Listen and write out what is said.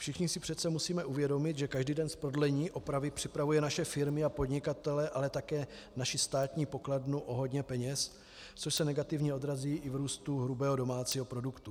Všichni si přece musíme uvědomit, že každý den z prodlení opravy připravuje naše firmy a podnikatele, ale také naši státní pokladnu o hodně peněz, což se negativně odrazí i v růstu hrubého domácího produktu.